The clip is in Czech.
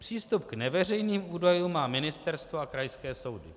Přístup k neveřejným údajům má Ministerstvo a krajské soudy.